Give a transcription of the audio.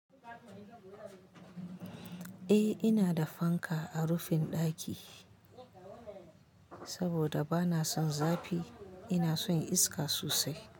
Eh ina da fanka a rufin ɗaki, saboda ba na son zafi. Ina son iska sosai.